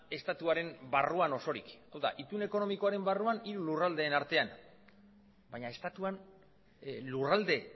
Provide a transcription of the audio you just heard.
estatuaren barruan osorik hau da itun ekonomikoaren barruan hiru lurraldeen artean baina estatuan lurralde